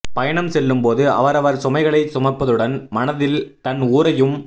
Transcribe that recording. பயணம் செல்லும் போது அவரவர் சுமைகளைச் சுமப்பதுடன் மனத்தில் தன் ஊரையும்